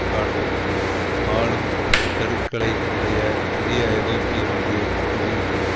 காட்டும் ஆளும் தடுக்களை உடைய புதிய ஐரோப்பிய ஒன்றிய அஞ்சுகின்றது